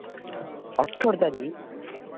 ଅଠର ତାରିଖ୍?